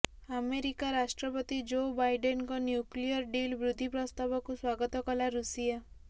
America ରାଷ୍ଟ୍ରପତି Joe ବାଇଡେନଙ୍କ nuclear deal ବୃଦ୍ଧି ପ୍ରସ୍ତାବକୁ ସ୍ବାଗତ କଲା ଋଷିଆ